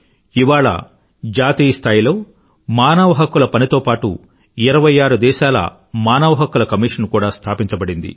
ఇవాళ జాతీయ స్థాయిలో మానవ హక్కుల పనితో పాటూ ఇరవై ఆరు దేశాల మానవ హక్కుల కమిషన్ కూడా స్థాపించబడింది